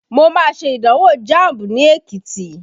Mo má ṣe ìdánwò Jamb ní Ekiti